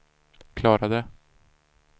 klarade